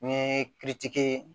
Ni